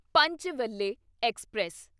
Panchvalle express